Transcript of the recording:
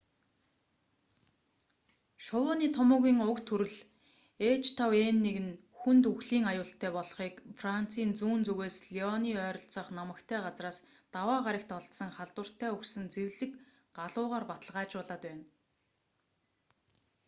шувууны томуугийн уг төрөл h5n1 нь хүнд үхлийн аюултай болохыг францын зүүн зүгээс лионы ойролцоох намагтай газраас даваа гарагт олдсон халдвартай үхсэн зэрлэг галуугаар баталгаажуулаад байна